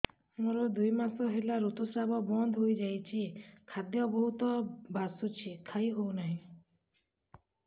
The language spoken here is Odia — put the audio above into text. ମୋର ଦୁଇ ମାସ ହେଲା ଋତୁ ସ୍ରାବ ବନ୍ଦ ହେଇଯାଇଛି ଖାଦ୍ୟ ବହୁତ ବାସୁଛି ଖାଇ ହଉ ନାହିଁ